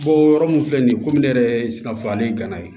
Bɔ yɔrɔ min filɛ nin ye komi ne yɛrɛ ye sikaso ale gana ye